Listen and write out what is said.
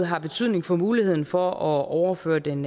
har betydning for muligheden for at overføre den